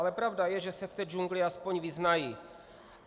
Ale pravda je, že se v té džungli aspoň vyznají.